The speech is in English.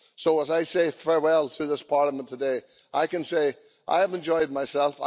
So, as I say farewell to this Parliament today, I can say I have enjoyed myself.